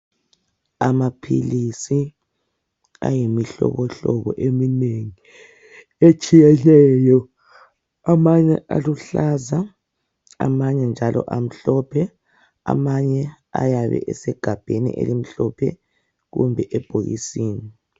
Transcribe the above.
Amaphilisi ayimihlobohlobo eminengi etshiyeneyo. Amanye aluhlaza, amanye njalo amhlophe, amanye ayabe esegabheni elimhlophe kumbe ebhokisini.